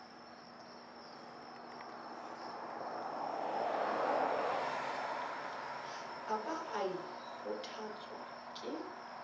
a ba a kgothotswa ke